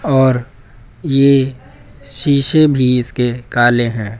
और ये शीशे भी इसके काले हैं।